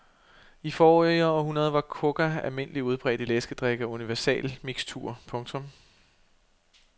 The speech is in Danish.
I forrige århundrede var coca almindelig udbredt i læskedrikke og universalmiksturer. punktum